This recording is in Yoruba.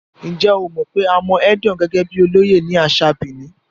Ǹjẹ́ o mọ̀ pé a mọ Edion gẹ́gẹ́ bíi olóyè ní àṣà Benin?